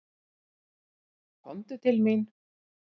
Komdu til mín.